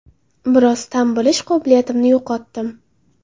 Biroz ta’m bilish qobiliyatimni yo‘qotdim.